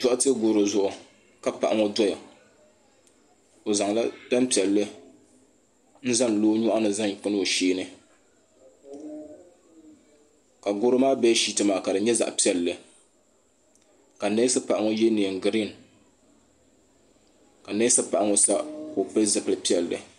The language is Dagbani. Doɣate goro zuɣu ka paɣa ŋɔ doya o zaŋla tampiɛlli n zaŋ lo o nyɔɣuni zaŋ kana o sheeni ka goro maa beeshiiti maa ka di nyɛ zaɣa piɛlli ka neesi paɣa ŋɔ ye niɛn girin ka neesi paɣa ŋɔ sa ka o pili zipi'pilli.